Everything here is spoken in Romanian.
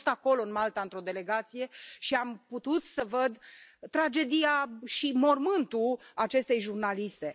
Am fost acolo, în Malta, într o delegație și am putut să văd tragedia și mormântul acestei jurnaliste.